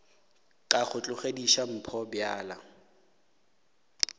ka go tlogediša mpho bjala